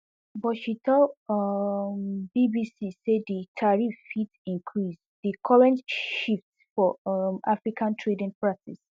but she tell um bbc say di tariff fit increase di current shift for um africa trading practice